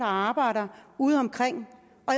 arbejder udeomkring